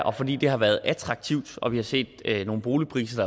og fordi det har været attraktivt og vi har set nogle boligpriser